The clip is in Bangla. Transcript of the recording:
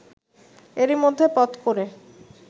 এরই মধ্যে পথ করে